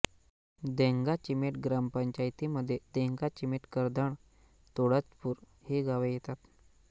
देंगाचीमेट ग्रामपंचायतीमध्ये देंगाचीमेट करधण तुळजपूर ही गावे येतात